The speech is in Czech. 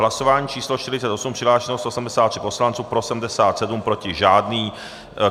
Hlasování číslo 48, přihlášeno 173 poslanců, pro 77, proti žádný.